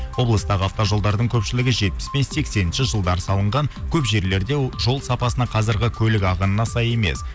облыстағы автожолдардың көпшілігі жетпіс пен сексенінші жылдары салынған көп жерлерде жол сапасына қазіргі көлік ағынына сай емес